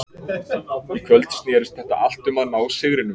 Í kvöld snerist þetta allt um að ná sigrinum.